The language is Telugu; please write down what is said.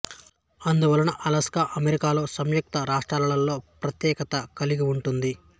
ఇందువలన అలాస్కా అమెరికా సంయుక్త రాష్ట్రాలలో ప్రత్యేకత కలిగి ఉంటుంది